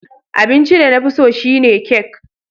Abincin da na fi so shine kek